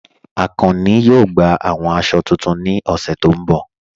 Akànnì yóò gbà awọn àṣọ̀ tuntun ní ọṣẹ̀ tí n bọ̀